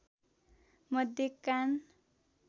मध्य कान